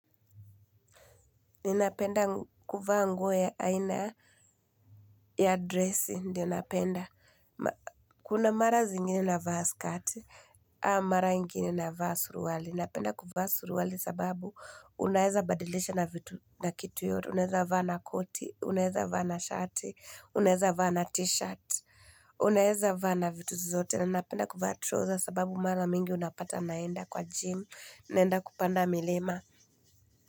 Ninapenda kuvaa nguo ya aina ya dresi, ndio napenda. Kuna mara zingine navaa skati, ama mara ingine navaa suruali. Ninapenda kuvaa suruali sababu unaeza badilisha na vitu na kitu yoyote. Unaeza vaa na koti, unaeza vaa na shati, unaeza vaa na t-shirt, unaeza vaa na vitu zote. Ninapenda kuvaa troza sababu mara mingi unapata naenda kwa gym, naenda kupanda milima.